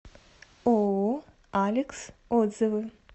ооо алекс отзывы